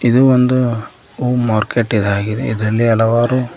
ಇದು ಒಂದು ಹೂ ಮಾರ್ಕೆಟ್ ಇದಾಗಿದೆ ಇದ್ರಲ್ಲಿ ಹಲವಾರು--